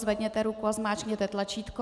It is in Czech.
Zvedněte ruku a zmáčkněte tlačítko.